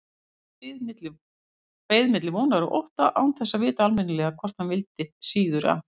Beið milli vonar og ótta, án þess að vita almennilega hvort hann vildi síður að